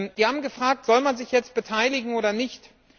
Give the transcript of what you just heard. Sie haben gefragt Soll man sich jetzt beteiligen oder nicht?